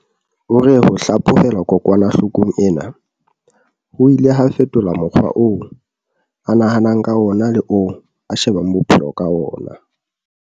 O re ho hlaphohelwa kokwana-hlokong ena ho ile ha fetola mokgwa oo a nahanang ka wona le oo a shebang bophe-lo ka wona.